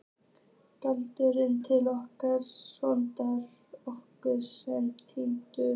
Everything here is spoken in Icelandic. Galdraðu til okkar son okkar sem er týndur.